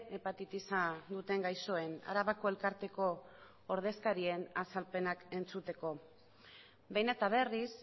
hepatitisa duten gaixoen arabako elkarteko ordezkarien azalpenak entzuteko behin eta berriz